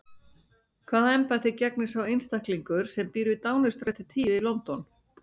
Hvaða embætti gegnir sá einstaklingur sem býr við Downingstræti tíu í London?